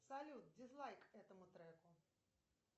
салют дизлайк этому треку